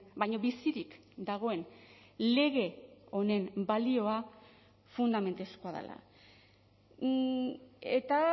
baina bizirik dagoen lege honen balioa fundamentuzkoa dela eta